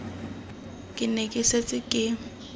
ke ne ke setse ke